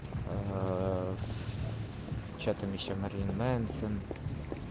аа что там ещё мэрлин мэнсон